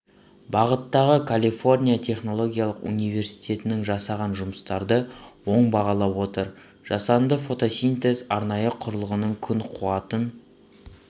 бағыттағы калифорния технологиялық университетінің жасаған жұмыстарды оң бағалап отыр жасанды фотосинтез арнайы құрылғының күн қуатын